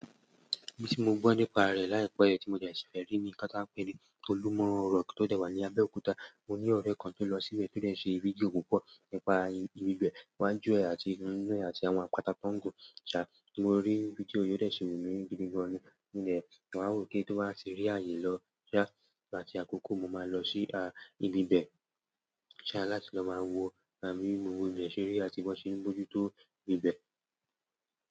Èyí tí mo gbọ́ nípa rẹ̀ láìpẹ́ ẹ ti mo de si fe rí ni okan ta n pe ní olumọ́ rọ̀ck tó dẹ̀ wà ní Abẹ́òkúta, mo ní ọ̀rẹ́ kan tó lọ síbẹ̀ tó dẹ̀ ṣe fídíò púpọ̀ nípa ibi bẹ̀, iwájú ẹ àti inú ẹ àti àwọn àpáta tó ń gùn. Ṣà, mo rí fídíò òdẹ̀ ṣi wù mí gidi gan ni nígbẹ̀, màá wò ó kí n tó máa ṣe rí àyè lọ. Ṣà, láti àkókò mo máa lọ sí ibi bẹ̀, ṣà láti lọ máa wo bí mo lè ṣe rí àbí wọn ṣe ń bójú tó ibi bẹ̀.